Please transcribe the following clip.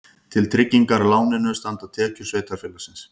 Til tryggingar láninu standa tekjur sveitarfélagsins